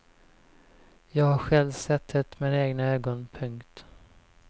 Jag har själv sett det med egna ögon. punkt